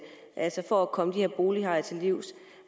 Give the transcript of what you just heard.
for at komme de her bolighajer til livs